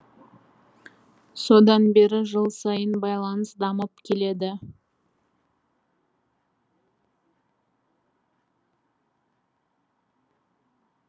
содан бері жыл сайын байланыс дамып келеді